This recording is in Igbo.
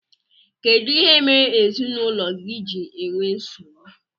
Kedụ ihe mere ezinaụlọ gị ji ewee nsogbu?